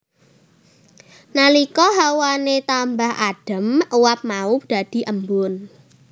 Nalika hawane tambah adem uap mau dadhi embun